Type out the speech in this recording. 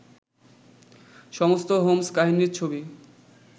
সমস্ত হোম্স্-কাহিনীর ছবি